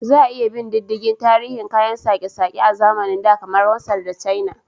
Za a iya bin diddigin tarihin kayan sake-sake a zamanin da, kamar Masar da China.